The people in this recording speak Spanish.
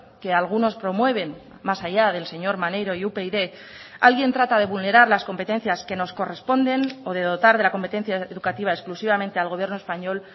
que algunos promueven más allá del señor maneiro y upyd alguien trata de vulnerar las competencias que nos corresponden o de dotar de la competencia educativa exclusivamente al gobierno español